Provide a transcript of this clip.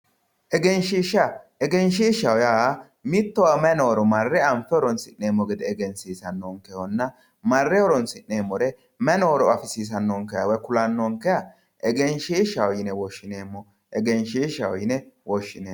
Egenshishsha, egenshishshaho yaa mittowa mayi nooro marre anfe horonsi'neemmo gede egensiisanonkehonna marre horonsi'neemmore mayi nooro afisiisanonkeha woyi ku'lanonkeha egenshishshaho yine woshshineemmo, egenshishshaho yine woshshineemmo.